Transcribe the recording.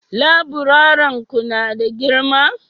laburaren Ku na da girma?